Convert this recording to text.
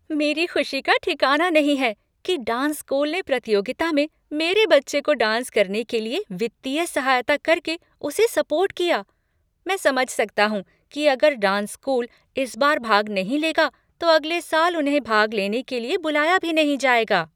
मेरी खुशी का ठिकाना नहीं है कि डांस स्कूल ने प्रतियोगिता में मेरे बच्चे को डांस करने के लिए वित्तीय सहायता करके उसे सपोर्ट किया, मैं समझ सकता हूँ कि अगर डांस स्कूल इस बार भाग नहीं लेगा तो अगले साल उन्हें भाग लेने के लिए बुलाया भी नहीं जाएगा।